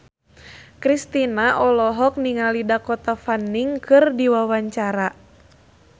Kristina olohok ningali Dakota Fanning keur diwawancara